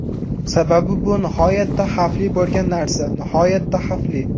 Sababi bu nihoyatda xavfli bo‘lgan narsa, nihoyatda xavfli.